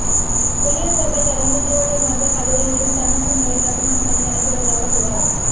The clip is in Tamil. புளியந்தோப்பை தொடர்ந்து திருவள்ளூர் மருத்துவக் கல்லூரியிலும் தரமற்ற முறையில் கட்டுமான பணி நடைபெறுவதாக புகார்